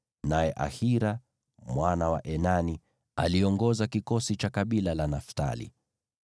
naye Ahira mwana wa Enani aliongoza kikosi cha kabila la Naftali.